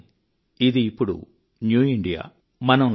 కానీ ఇది ఇప్పుడు కొత్త ఇండియా